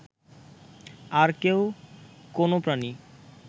আর কেউ, কোনও প্রাণী